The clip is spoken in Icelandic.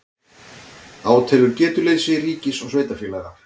Átelur getuleysi ríkis og sveitarfélaga